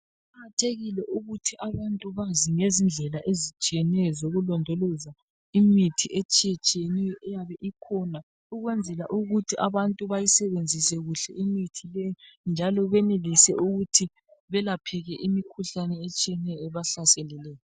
Kuqakathekile ukuthi abantu bazi ngezindlela ezitshiyeneyo zokulondoloza imithi etshiye tshiyeneyo eyabe ikhona ukwenzela ukuthi abantu bayisebenzise kuhle imithi le njalo benelise ukuthi belapheke imikhuhlane etshiyeneyo ebahlaseleyo.